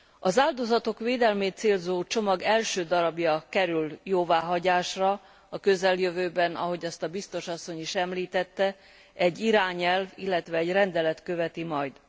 Az áldozatok védelmét célzó csomag első darabja kerül jóváhagyásra a közeljövőben ahogy azt a biztos asszony is említette egy irányelv, illetve egy rendelet követi majd.